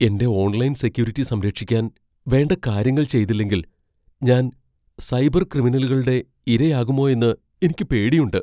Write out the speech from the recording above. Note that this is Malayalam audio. എന്റെ ഓൺലൈൻ സെക്യൂരിറ്റി സംരക്ഷിക്കാൻ വേണ്ട കാര്യങ്ങൾ ചെയ്തില്ലെങ്കിൽ ഞാൻ സൈബർ ക്രിമിനലുകളുടെ ഇരയാകുമോയെന്ന് എനിക്ക് പേടിയുണ്ട്.